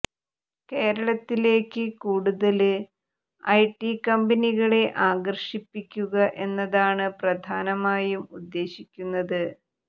കേരളത്തിലേക്ക് കൂടുതല് IT കമ്പനികളെ ആകര്ഷിപ്പിക്കുക എന്നതാണ് പ്രധാനമായും ഉദ്ദേശിക്കുന്നത്